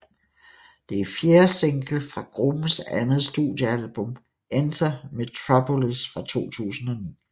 Det er fjerde single fra gruppens andet studiealbum Enter Metropolis fra 2009